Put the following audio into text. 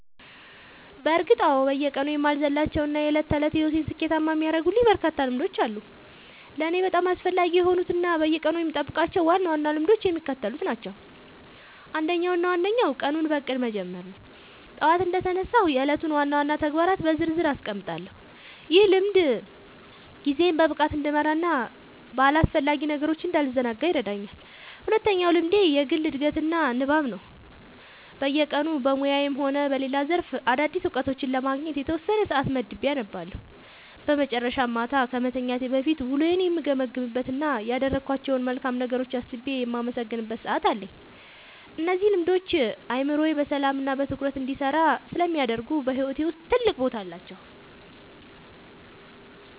በእርግጥ አዎ፤ በየቀኑ የማልዘልላቸው እና የዕለት ተዕለት ሕይወቴን ስኬታማ የሚያደርጉልኝ በርካታ ልምዶች አሉ። ለእኔ በጣም አስፈላጊ የሆኑት እና በየቀኑ የምጠብቃቸው ዋና ዋና ልምዶች የሚከተሉት ናቸው፦ አንደኛው እና ዋነኛው ቀኑን በእቅድ መጀመር ነው። ጠዋት እንደተነሳሁ የዕለቱን ዋና ዋና ተግባራት በዝርዝር አስቀምጣለሁ፤ ይህ ልምድ ጊዜዬን በብቃት እንድመራና በአላስፈላጊ ነገሮች እንዳልዘናጋ ይረዳኛል። ሁለተኛው ልምዴ የግል ዕድገትና ንባብ ነው፤ በየቀኑ በሙያዬም ሆነ በሌላ ዘርፍ አዳዲስ እውቀቶችን ለማግኘት የተወሰነ ሰዓት መድቤ አነባለሁ። በመጨረሻም፣ ማታ ከመተኛቴ በፊት ውሎዬን የምገመግምበት እና ያደረግኳቸውን መልካም ነገሮች አስቤ የማመሰግንበት ሰዓት አለኝ። እነዚህ ልምዶች አእምሮዬ በሰላምና በትኩረት እንዲሰራ ስለሚያደርጉ በሕይወቴ ውስጥ ትልቅ ቦታ አላቸው።"